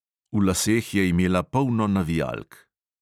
V laseh je imela polno navijalk.